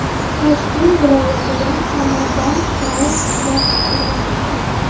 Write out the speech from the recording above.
Toshkent viloyatida somondan qog‘oz ishlab chiqarilmoqda.